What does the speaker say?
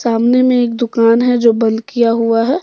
सामने में एक दुकान है जो बंद किया हुआ है।